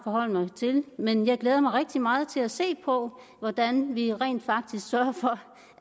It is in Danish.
forholde mig til men jeg glæder mig rigtig meget til at se på hvordan vi rent faktisk sørger for